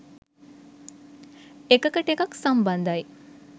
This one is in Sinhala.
එකකට එකක් සම්බන්ධයි.